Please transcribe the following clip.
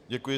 Děkuji.